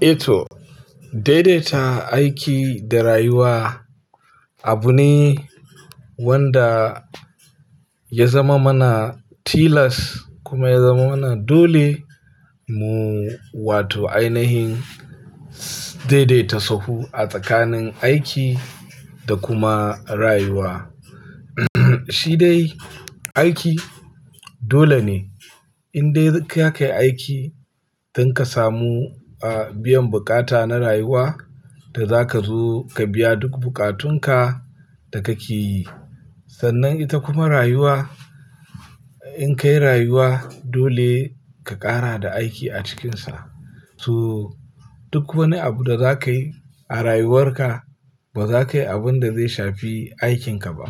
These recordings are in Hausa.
Eto, daidaita aiki da rayuwa abu ne wanda ya zama mana tilas kuma ya zamana dole mu wato ainihin daidaita sahu a tsakanin aiki da kuma rayuwa. Shi dai aiki dole ne in dai ka kai aiki don ka samu, ah, biyan buƙata na rayuwa da za ka zo ka biya duk buƙatunka da ka ke yi. Sannan ita kuma rayuwa in ka yi rayuwa dole ka ƙara da aiki a cikinsa. To duk wani abu da za ka yi a rayuwarka ba za ka yi abun da zai shafi aikinka ba.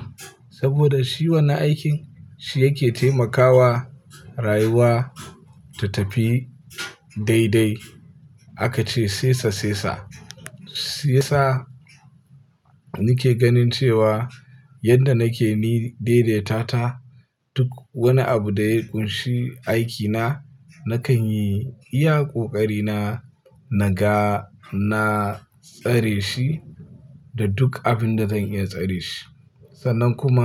Saboda shi wani aikin shi yake taimakawa rayuwa ta tafi daidai. Aka ce "sesa sesa." Sesa nake ganin cewa yadda nake ni daidaita ta duk wani abu da ya ƙunshi aikina nakan yi iya ƙoƙari na naga na tsare shi da duk abin da zan iya tsare shi. Sannan kuma-